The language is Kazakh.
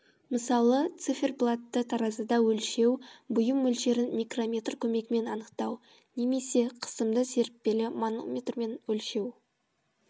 мысалы циферблатты таразыда өлшеу бұйым мөлшерін микрометр көмегімен анықтау немесе қысымды серіппелі манометрмен өлшеу